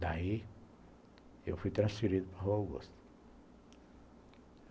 Daí, eu fui transferido para a Rua Augusta.